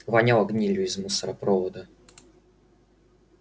воняло гнилью из мусоропровода